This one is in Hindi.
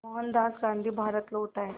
मोहनदास गांधी भारत लौट आए